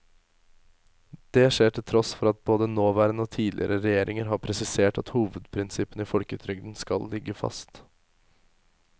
Det skjer til tross for at både nåværende og tidligere regjeringer har presisert at hovedprinsippene i folketrygden skal ligge fast.